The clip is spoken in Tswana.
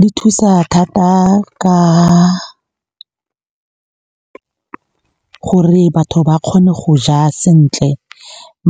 Di thusa thata ka gore batho ba kgone go ja sentle.